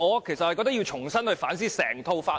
其實我認為要重新反思整套法例。